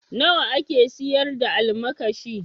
Nawa ake siyar da almakashi?